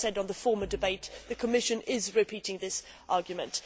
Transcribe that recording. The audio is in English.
As I said in the earlier debate, the Commission is repeating this argument.